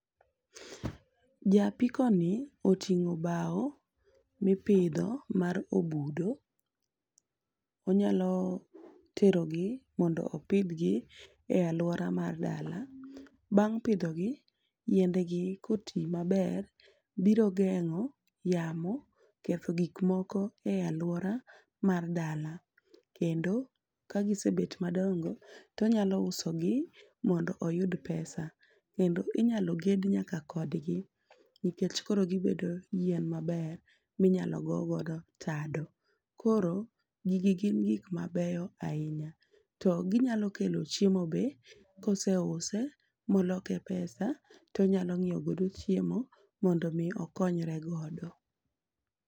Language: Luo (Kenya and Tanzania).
Ja apikoni oting'o bao mipidho mar obudo. Onyaloterogi mondo opidhgi e aluora mar dala. Bang' pidhogi yiendegi kotii maber biro geng'o yamo ketho gikmoko e aluora mar dala kendo ka gisebet madongo tonyalousogi mondo oyud pesa. Kendo inyalo ged nyaka kodgi nikech koro gibedo yien maber minyalo goo godo tado. Koro gigi gin gik mabeyo ainya to ginyalokelo chiemo be koseuse moloke pesa tonyalo nyiegodo chiemo mondomii okonyre godo.